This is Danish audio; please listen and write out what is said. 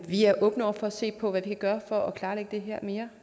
vi er åbne over for at se på hvad vi kan gøre for at klarlægge det her mere